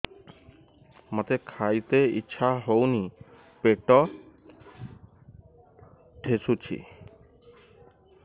ମୋତେ ଖାଇତେ ଇଚ୍ଛା ହଉନି ପେଟ ଠେସୁଛି